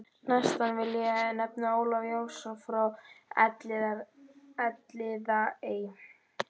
Næstan vil ég nefna Ólaf Jónsson frá Elliðaey.